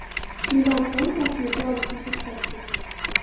Shundan so‘ng tasvirga olishni to‘xtatdik.